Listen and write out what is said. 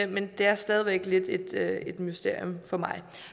men det er stadig væk lidt et mysterium for mig